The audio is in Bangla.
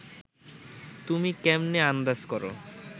তুমি ক্যামনে আন্দাজ করো